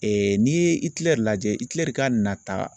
n'i ye Itilɛri lajɛ Itilɛri ka nata